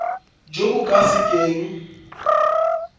jo bo ka se keng